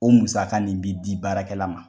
O musaka nin bi di baarakɛla ma.